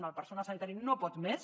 el personal sanitari no pot més